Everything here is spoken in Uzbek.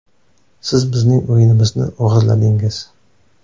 Siz bizning o‘yinimizni o‘g‘irladingiz.